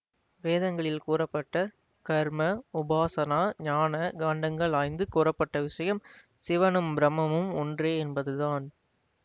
வேதங்களில் கூறப்பட்ட கர்ம உபாசனா ஞான காண்டங்கள் ஆய்ந்து கூறப்பட்ட விசயம் சிவனும் பிரம்மம்மும் ஒன்றே என்பதுதான்